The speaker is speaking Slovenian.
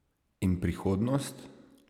In prihodnost?